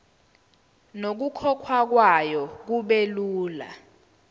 nokukhokhwa kwayo kubelula